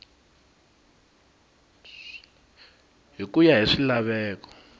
hi ku ya hi swilaveko